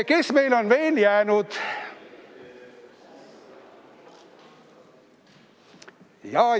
Kes meil on veel jäänud?